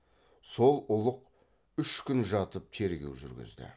сол ұлық үш күн жатып тергеу жүргізді